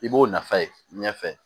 I b'o nafa ye ɲɛfɛ